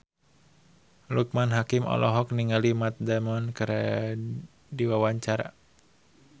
Loekman Hakim olohok ningali Matt Damon keur diwawancara